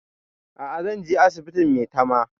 A'a zan je asibitin maitama